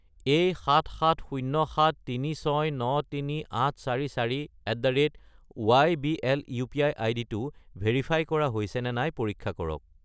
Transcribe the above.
এই 77073693844@ybl UPI. আইডিটো verify কৰা হৈছেনে নাই পৰীক্ষা কৰক।